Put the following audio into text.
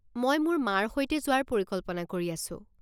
মই মোৰ মাৰ সৈতে যোৱাৰ পৰিকল্পনা কৰি আছো।